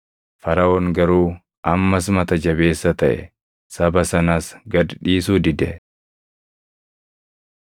Faraʼoon garuu ammas mata jabeessa taʼe; saba sanas gad dhiisuu dide.